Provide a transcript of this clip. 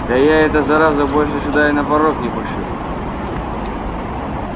да я эту заразу больше сюда и на порог не пущу